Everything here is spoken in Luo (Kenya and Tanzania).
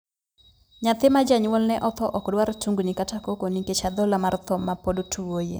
Nyathi ma janyuolne othoo ok dwar tungni kata koko nikech adhola mar thoo ma pod tuoye.